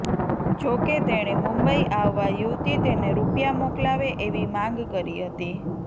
જોકે તેણે મુંબઈ આવવા યુવતી તેને રૂપિયા મોકલાવે એવી માગ કરી હતી